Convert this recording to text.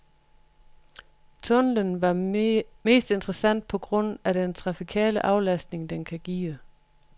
Tunnelen er mest interessant på grund af den trafikale aflastning, den kan give.